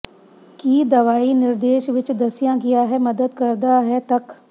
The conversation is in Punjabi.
ਕੀ ਦਵਾਈ ਨਿਰਦੇਸ਼ ਵਿੱਚ ਦੱਸਿਆ ਗਿਆ ਹੈ ਮਦਦ ਕਰਦਾ ਹੈ ਤੱਕ